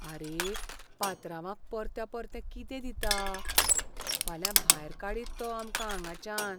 आरे, पात्रांवाक परत्या परतें कितें दिता? फाल्यां भायर काडीत तो आमकां हांगाच्यान.